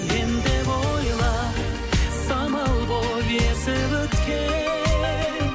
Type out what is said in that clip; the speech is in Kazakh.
мен деп ойла самал болып есіп өткен